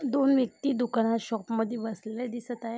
दोन व्यक्ति दुकानात शॉप मध्ये बसलेल्या दिसत आहे.